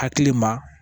Hakili ma